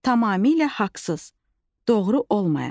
Tamamilə haqsız, doğru olmayan.